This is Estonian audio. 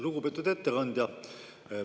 Lugupeetud ettekandja!